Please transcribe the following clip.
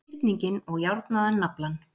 hyrninginn og járnaðan naflann.